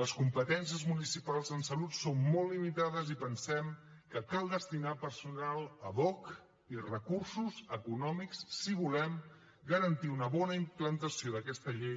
les competències municipals en salut són molt limitades i pensem que cal destinar hi personal ad hoc i recursos econòmics si volem garantir una bona implantació d’aquesta llei